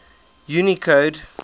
unicode